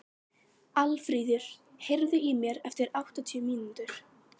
Aðalfríður, heyrðu í mér eftir áttatíu mínútur.